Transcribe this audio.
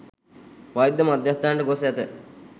වෛද්‍ය මධ්‍යස්ථානයට ගොස් ඇත.